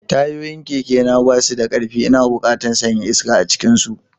Tayoyin kekena ba su da ƙarfi, ina buƙatar sanya iska a cikinsu.